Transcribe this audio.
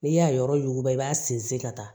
N'i y'a yɔrɔ yuguba i b'a sinsin ka taa